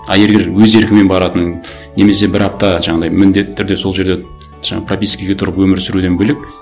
а егер өз еркімен баратын немесе бір апта жаңағындай міндетті түрде сол жерде жаңа пропискаға тұрып өмір сүруден бөлек